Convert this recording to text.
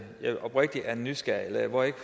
jeg oprigtigt er nysgerrig eller hvor jeg